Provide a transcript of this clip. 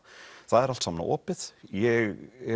það er allt saman opið ég